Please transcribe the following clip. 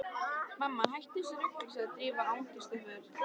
Mamma, hættu þessu rugli sagði Drífa angistarfull.